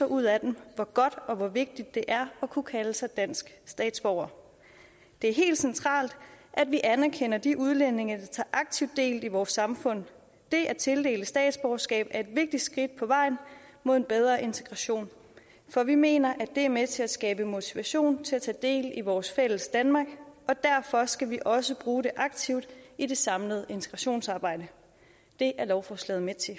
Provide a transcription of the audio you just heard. ud af dem hvor godt og vigtigt det er at kunne kalde sig dansk statsborger det er helt centralt at vi anerkender de udlændinge der tager aktivt del i vores samfund det at tildele statsborgerskab er et vigtigt skridt på vejen mod en bedre integration for vi mener at det er med til at skabe motivation til at tage del i vores fælles danmark og derfor skal vi også bruge det aktivt i det samlede integrationsarbejde det er lovforslaget med til